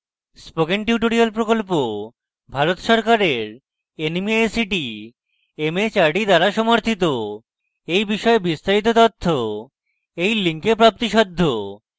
spoken tutorial প্রকল্প ভারত সরকারের nmeict mhrd দ্বারা সমর্থিত এই বিষয়ে বিস্তারিত তথ্য এই link প্রাপ্তিসাধ্য